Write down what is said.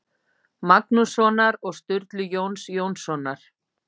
Magnússonar og Sturlu Jóns Jónssonar.